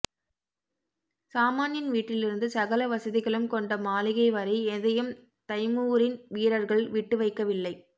சாமான்யன் வீட்டிலிருந்து சகல வசதிகளும் கொண்ட மாளிகை வரை எதையும் தைமூரின் வீரர்கள் விட்டுவைக்கவில்லை